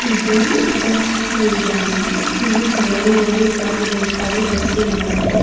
ಇದು ಬಸ್ ನಿಲ್ದಾಣ ಇಲ್ಲಿ ಜನರು ಹೋಗುತ್ತಾರೆ ಬರುತ್ತಾರೆ ಬಸ್ ನೊಳಗಡೆ.